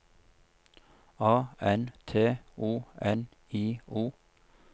A N T O N I O